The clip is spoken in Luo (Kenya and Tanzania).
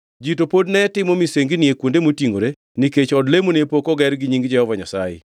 Ji to pod ne timo misengini e kuonde motingʼore nikech od lemo ne pok oger ni nying Jehova Nyasaye.